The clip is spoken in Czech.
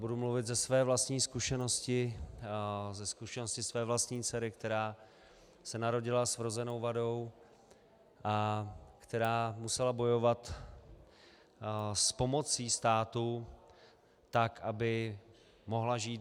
Budu mluvit ze své vlastní zkušenosti, ze zkušenosti své vlastní dcery, která se narodila s vrozenou vadou a která musela bojovat s pomocí státu tak, aby mohla žít.